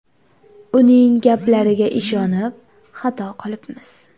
Uning gaplariga ishonib, xato qilibmiz.